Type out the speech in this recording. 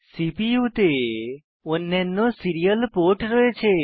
CPU তে অন্যান্য serial port রয়েছে